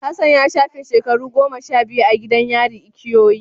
Hassan ya shafe shekaru goma sha biyu a gidan yari ikoyi.